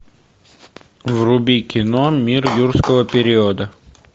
вруби кино мир юрского периода